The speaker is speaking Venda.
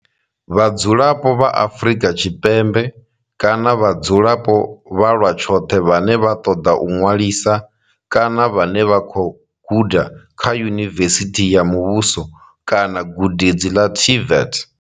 Vhadzulapo vha Afrika Tshipembe kana vhadzulapo vha lwa tshoṱhe vhane vha ṱoḓa u ṅwalisa kana vhane vha khou guda kha yunivesithi ya muvhuso kana gudedzi ḽa TVET.